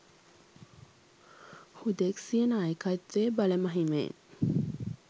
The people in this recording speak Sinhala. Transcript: හුදෙක් සිය නායකත්වයේ බල මහිමයෙන්